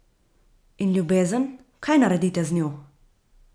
In ljubezen, kaj naredite z njo?